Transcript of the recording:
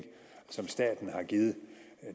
som staten har givet